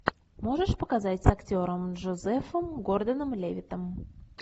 можешь показать с актером джозефом гордоном левиттом